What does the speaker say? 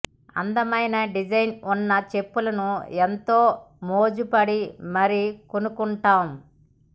అందమైన డిజైన్ ఉన్న చెప్పులను ఏంతో మోజు పడి మరీ కొనుక్కుంటాం